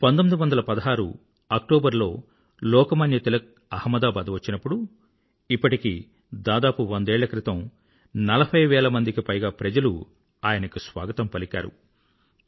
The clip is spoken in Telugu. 1916 అక్టోబర్లో ఆహ్మదాబాద్ వచ్చినప్పుడు ఇప్పటికి దాదాపు వందేళ్ల క్రితం నలభైవేలకు పైగా ప్రజలు ఆయనకు స్వాగతం పలికారు